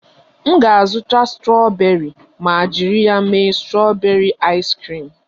M ga-azụta strọberị ma jiri ya mee strọberị aịs kriim